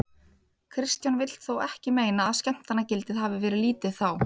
Kristján vill þó ekki meina að skemmtanagildið hafið verið lítið þá.